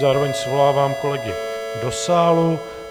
Zároveň svolávám kolegy do sálu.